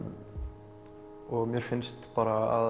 og mér finnst bara að